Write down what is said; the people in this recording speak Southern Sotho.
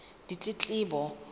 ditletlebo